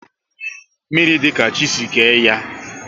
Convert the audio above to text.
Mmiri dị ka chi si kee ya